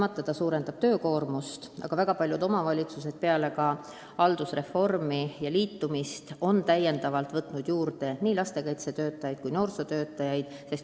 Kahtlemata see suurendab töökoormust, aga väga paljud omavalitsused on peale haldusreformi täiendavalt tööle võtnud nii lastekaitsetöötajaid kui noorsootöötajaid.